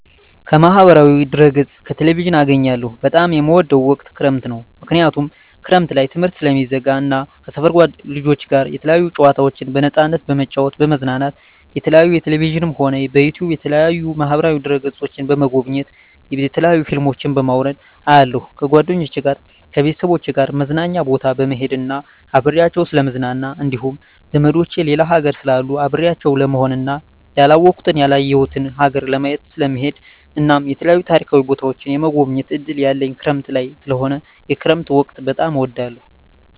ከማህበራዊ ድህረገፅ ከቴሌቪዥን አገኛለሁ በጣም የምወደዉ ወቅት ክረምት ነዉ ምክንያቱም ክረምት ላይ ትምህርት ስለሚዘጋ እና ከሰፈር ልጆች ጋር የተለያዩ ጨዋታዎችን በነፃነት በመጫወት በመዝናናት የተለያዩ በቴሌቪዥንም ሆነ በዩቱዩብ በተለያዩ ማህበራዋ ድህረ ገፆችን በመጎብኘት የተለያዩ ፊልሞችን በማዉረድ አያለሁ ከጓደኞቸ ጋር ከቤተሰቦቸ ጋር መዝናኛ ቦታ በመሄድና አብሬያቸዉ ስለምዝናና እንዲሁም ዘመዶቸ ሌላ ሀገር ስላሉ አብሬያቸው ለመሆንና ያላወኩትን ያላየሁትን ሀገር ለማየት ስለምሄድ እናም የተለያዩ ታሪካዊ ቦታዎችን የመጎብኘት እድል ያለኝ ክረምት ላይ ስለሆነ የክረምት ወቅት በጣም እወዳለሁ